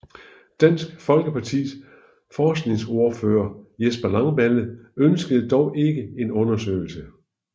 Dansk Folkepartis forskningsordfører Jesper Langballe ønskede dog ikke en undersøgelse